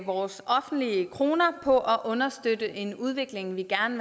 vores offentlige kroner på at understøtte en udvikling vi gerne